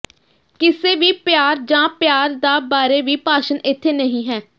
ਕਿਸੇ ਵੀ ਪਿਆਰ ਜ ਪਿਆਰ ਦਾ ਬਾਰੇ ਵੀ ਭਾਸ਼ਣ ਇੱਥੇ ਨਹੀ ਹੈ